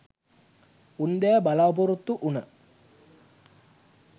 උන්දෑ බලාපොරොත්තු වුන